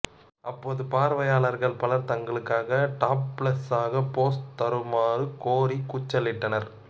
அப்போது பார்வையாளர்கள் பலர் தங்களுக்காக டாப்லெஸ்ஸாக போஸ் தருமாறு கோரி கூச்சலிட்டனர்